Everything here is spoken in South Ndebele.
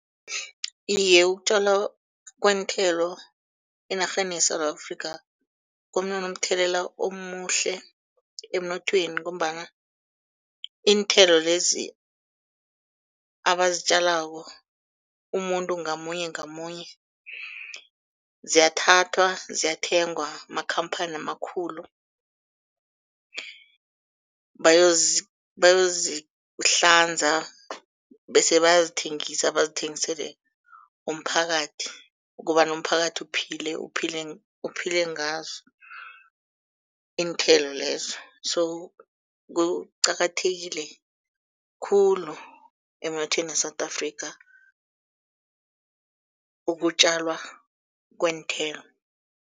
Iye, ukutjalwa kweenthelo enarheni yeSewula Afrika, kunonomthelela omuhle emnothweni, ngombana iinthelo lezi abazitjalako umuntu ngamunye ngamunye ziyathathwa ziyathengwa makhamphani amakhulu, bayozihlanza bese bayazithengisa bazithengisele umphakathi kobana umphakathi uphile, uphile uphile ngazo iinthelo lezo. So kuqakathekile khulu emnothweni we-South Africa ukutjalwa kweenthelo.